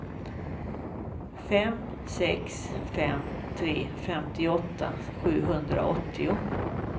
fem sex fem tre femtioåtta sjuhundraåttio